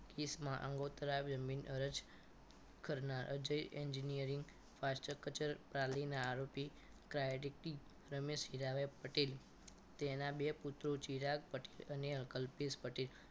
Case માં આંગોતરા આવ્યું અરજી કરનાર અજય engineering fast કચેરી પાલિકાના આરોપી ક્રાયટી રમેશ હીરાભાઈ પટેલ તેના બે પુત્રો ચિરાગ અને કલ્પેશ પટેલ